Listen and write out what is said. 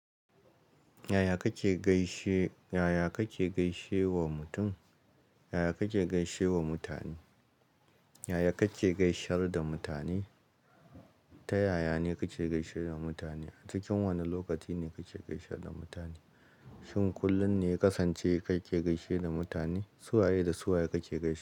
Yaya kake gaishe, yaya kake gaishe wa mutum? Yaya kake gaishe wa mutane? Yaya kake gaishe da mutane? Ta yaya ne kake gaishe da mutane? A cikin wani lokaci ne kake gaishe da mutane? Shin kullum ne ya kasance kake gaishe da mutane? Su waye da su waye kake gaishe?